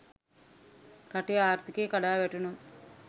රටෙ ආර්ථිකය කඩා වැටුනොත්